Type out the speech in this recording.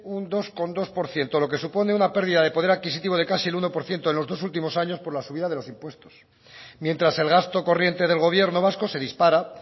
un dos coma dos por ciento lo que supone una pérdida de poder adquisitivo de casi el uno por ciento en los dos últimos años por la subida de los impuestos mientras el gasto corriente del gobierno vasco se dispara